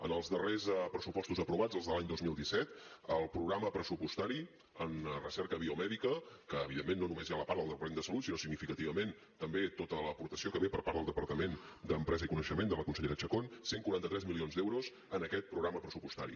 en els darrers pressupostos aprovats els de l’any dos mil disset el programa pressupostari en recerca biomèdica que evidentment no només hi ha la part del departament de salut sinó significativament també tota l’aportació que ve per part del departament d’empresa i coneixement de la consellera chacón cent i quaranta tres milions d’euros en aquest programa pressupostari